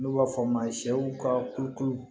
N'u b'a fɔ a ma sɛw ka kulukulu